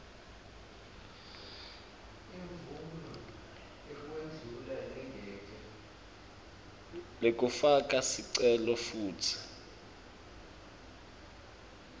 lekufaka sicelo futsi